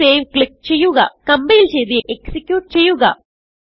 save click ചെയ്യുകകംപൈൽ ചെയ്ത് execute ചെയ്യുക